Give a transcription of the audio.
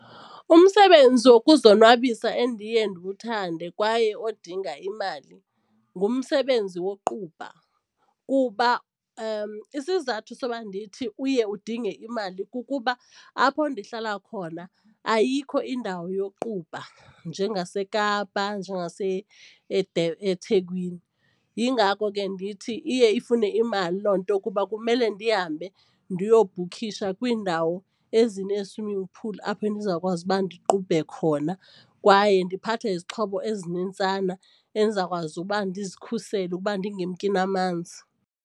Umsebenzi wokuzonwabisa endiye ndiwuthande kwaye odinga imali ngumsebenzi woqubha kuba isizathu soba ndithi uye udinge imali kukuba apho ndihlala khona ayikho indawo yoqubha njengaseKapa eThekwini. Yingako ke ndithi iye ifune imali loo nto kuba kumele ndihambe ndiyobhukhisha kwiindawo ezinee-swiming pool apho endizawukwazi uba ndiqubhe khona kwaye ndiphathe izixhobo ezinintsana endizawukwazi uba ndizikhusele ukuba ndingemki namanzi.